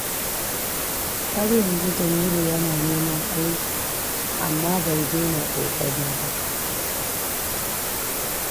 Har yanzu Jamilu yana neman aiki, amma bai daina kokari ba.